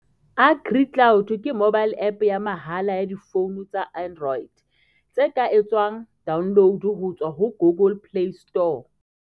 AgriCloud ke mobile app ya mahala ya difoune tsa Android, tse ka etswang download ho tswa ho Google Play Store.